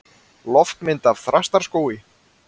Loftmynd af Þrastaskógi.